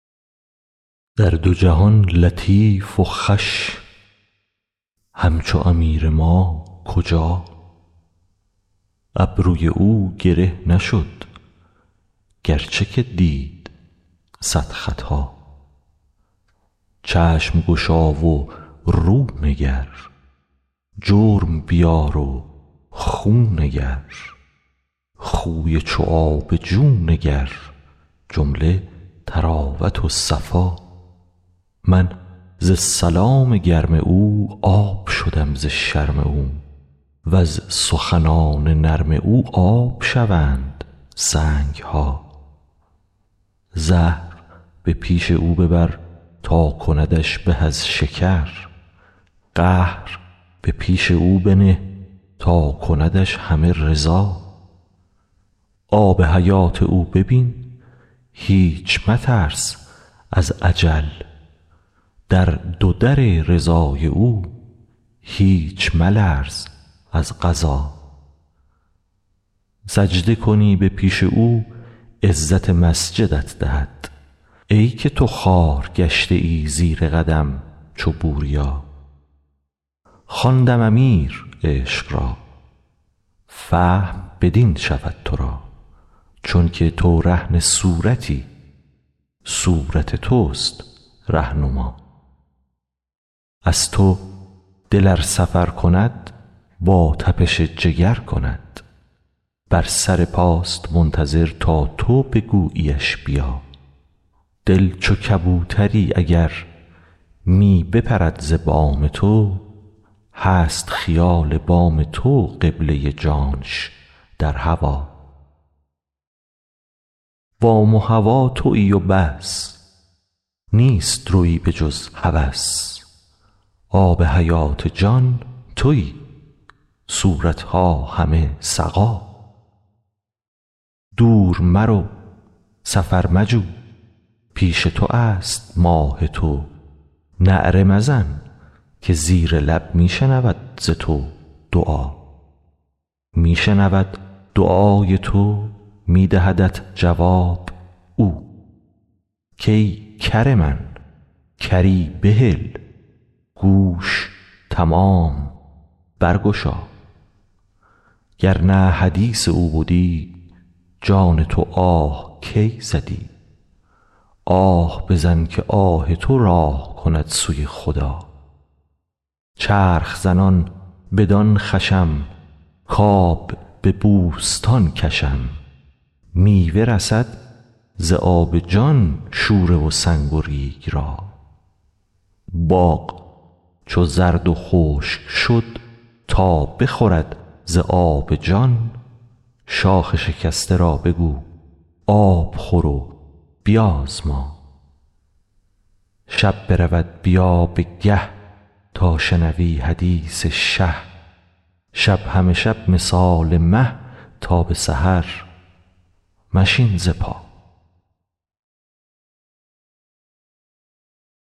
در دو جهان لطیف و خوش همچو امیر ما کجا ابروی او گره نشد گرچه که دید صد خطا چشم گشا و رو نگر جرم بیار و خو نگر خوی چو آب جو نگر جمله طراوت و صفا من ز سلام گرم او آب شدم ز شرم او وز سخنان نرم او آب شوند سنگ ها زهر به پیش او ببر تا کندش به از شکر قهر به پیش او بنه تا کندش همه رضا آب حیات او ببین هیچ مترس از اجل در دو در رضای او هیچ ملرز از قضا سجده کنی به پیش او عزت مسجدت دهد ای که تو خوار گشته ای زیر قدم چو بوریا خواندم امیر عشق را فهم بدین شود تو را چونک تو رهن صورتی صورت توست ره نما از تو دل ار سفر کند با تپش جگر کند بر سر پاست منتظر تا تو بگوییش بیا دل چو کبوتری اگر می بپرد ز بام تو هست خیال بام تو قبله جانش در هوا بام و هوا توی و بس نیست روی بجز هوس آب حیات جان توی صورت ها همه سقا دور مرو سفر مجو پیش تو است ماه تو نعره مزن که زیر لب می شنود ز تو دعا می شنود دعای تو می دهدت جواب او کای کر من کری بهل گوش تمام برگشا گر نه حدیث او بدی جان تو آه کی زدی آه بزن که آه تو راه کند سوی خدا چرخ زنان بدان خوشم کآب به بوستان کشم میوه رسد ز آب جان شوره و سنگ و ریگ را باغ چو زرد و خشک شد تا بخورد ز آب جان شاخ شکسته را بگو آب خور و بیازما شب برود بیا به گه تا شنوی حدیث شه شب همه شب مثال مه تا به سحر مشین ز پا